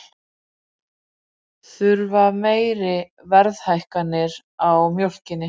Þurfa meiri verðhækkanir á mjólkinni